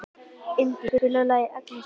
Indí, spilaðu lagið „Agnes og Friðrik“.